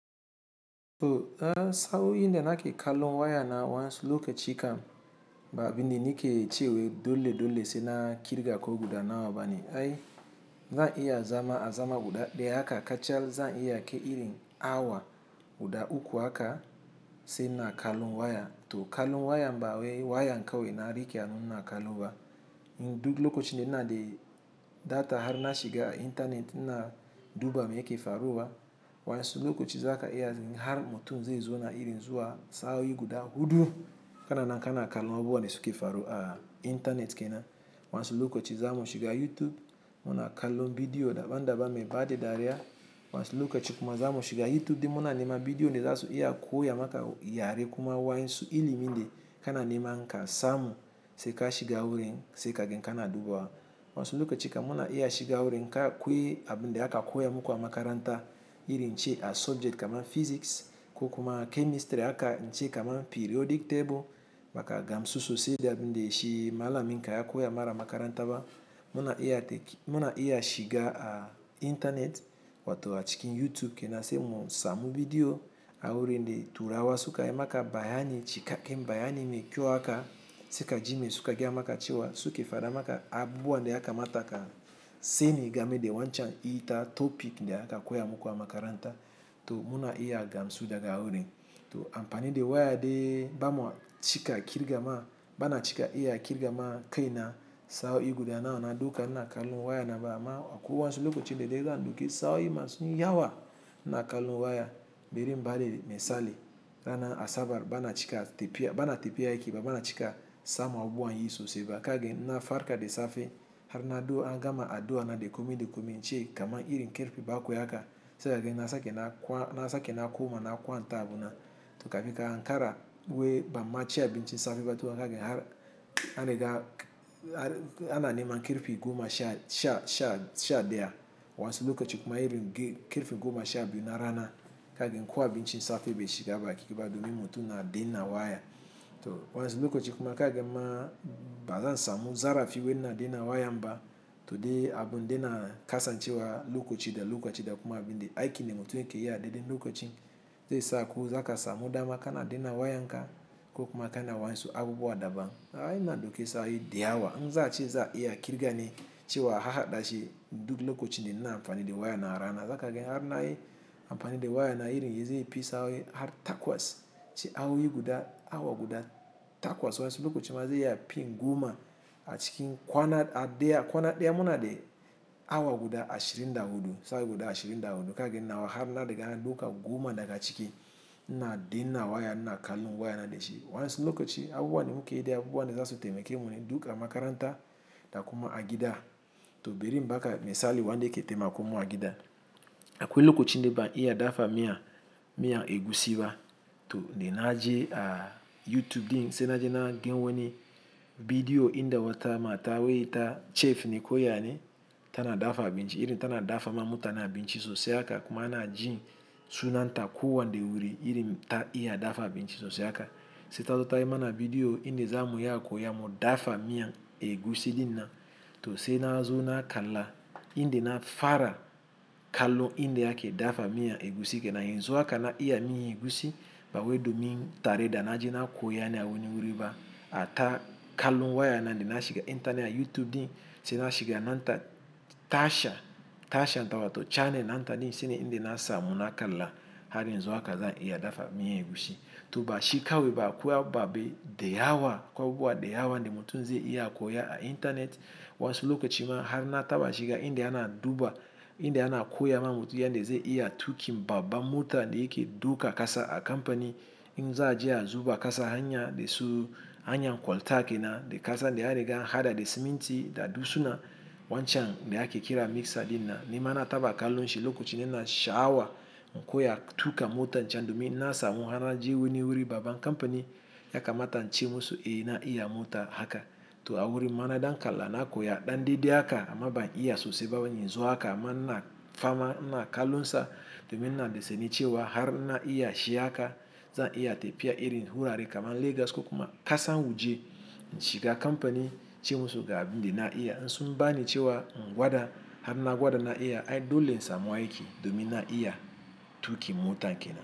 To saa yi nde nake kallon waya na wansu lokaci kam baabindi nike ciwe dole dole se na kirga ko guda na wa bani. Ai zan iya zama azama guda ɗaya aka kacal zan iya ke iri awa guda uku aka se na kallon waya to kallon waya ba wae wayan kawe na rike ani na kallowa. In duk lokacin de na de data har na shiga a intanet na duba me yake faruwa wansu lokaci za ka iya har mutum zai zo na iri zuwa saa yi guda hudu kana nanka na kallon abuwa ne suke faruwa a intanet kena. Wansu lokaci za mu shiga a YouTube muna kallon bidiyo daban daban me baɗi dariya wansu lokaci kuma za mu shiga a YouTube din muna nema bidiyo ne zasu iya koya maka yare kuma wansu ilimi de kana nema nka samu se ka shiga wurin se kagen kana duba wa. Wansu lokaci kuma na iya shiga a wurin ka koyi abun de aka koya muku a makaranta irin ce a subject kamar physics ko kuma chemistry aka nce kamar periodic table maka gamsusosi de abin de shi malamin ka ya koya mara makaranta ba muna iya tek muna iya shiga a intanet wato a cikin YouTube kena se mun samu bidiyo a wurin de turawa su ka yi maka bayani cikaken bayani me kyau aka se ka ji me su ka gaya maka cewa suke fada maka abuwa de aka mata ka seni game de wancan ita topic de aka koya muku a makaranta to muna iya gamsu daga wurin. To amfani de waya de bamwa cika kirga ma bana cika iya kirga ma kai na saa yi guda na wana duka na kallon waya na ba amma a kuwa wansu lokacin de dai zan duki saa yi masun yi yawa na kallon waya biri mbari misali rana Asabar bana cika tepiya bana tepiya yake ba bana cika samu abuwa yin sosai ba kagen na farka de safe har na ɗuwo an gama a ɗuwo na de komi de komin ce kamar irin kirfi ba a koya aka se kagen na sake na kwan na sake na koma na kwanta abuna to kafika hankara we bam ma ce abincin safe ba to wa kagen har an riga an an nema kirfi goma sha sha sha sha ɗaya wansu lokacin kuma irin kirfin goma sha biyu na rana kagen kuwa abin cin safe bai shiga ba kike ba domin mutum na dinna waya. To wansu lokacin kuma kagen ma baza samu zarafi wen na dinnan waya ba to de abun de na kasa cewa lokaci da lokaci da kuma abin de aike ne mutum yake iya daɗe lokacin zai samu zakasa mu dama kana dinnan waya nka ko kuma kana wansu abuwa daban. Ai na duki saa yi da yawa zan ci za iya kirga ne cewa harɗa shi duk lokacin de na amfani de waya na rana. Zakagen har na yi amfani de waya na irin yanzu yi pii saa yi har takwas ce awa yi guda awa guda takwas wansu lokacin ma zai iya pii goma a cikin kwana a ɗaya kwana ɗaya muna de awa guda ashirin da hudu saa guda ashirin da hudu kagen nawa har na riga na duka goma daga ciki na dinnan waya na kallon waya na de shi wansu lokaci abuwa ne mu ke yi de abuwa ne zasu taimake mu ne duka makaranta da kuma agida to biri mbaka misali wanda yake taimakon mu agida. Akwai lokacin ne ban iya dafa miya miya egusi ba to de na je a YouTube din se na je na gan wani bidiyo in de wata mata wai ita chef ne koya ne ta na dafa abinci irin ta na dafa ma mutane abinci sosai aka kuma ana ji sunanta kuwa de wuri irin ta iya dafa abinci sosai aka. Se ta zo tayi mana bidiyo in de za mu iya koya mu dafa miyan egusi din na to se na zo na kalla in de na fara kallon in de yake dafa miyan egusi kena yin zuwa aka na iya miyan egusi ba wae domin tare da na je na koya ne a wani wuri ba a ta kallon waya na de na shiga intanet a YouTube din se na shiga nan ta tashar tashar nawa to channel nan ta din se in de na samu na kalla har yanxu haka zan iya dafa miyan egusi. To ba shi kawe ba kuwa ba be da yawa kuwa abuwa da yawa de mutum zai iya koya a intanet wansu lokacin ma har na taba shiga in de ana duba in de ana koya ma mutum ya de zai iya tuki baba mota de yake duka kasa a kamfani in za je a zuba kasa hanya de su hanya koltake na de kasa de an riga hada de siminti da dusuna wancan de ake kira mixer din na nema na taba kallon shi lokacin de na sha awa mu koya tuka mota can domin na samu har na je wani wuri baban kamfani ya kamata nce musu ina iya mota haka. To a wurin mana dan kalla na koya ɗanɗidi aka amma ban iya sosai ba yin zuwa aka mana fama na kallon sa domin na de seni cewa har na iya shi aka zan iya tepiya irin hura re kamar Legas ko kuma kasa waje inshiga kamfani ce musu ga abin de na iya. In sun bani cewa gwada har na gwada na iya ai dole samu aiki domin na iya tuki mota kena.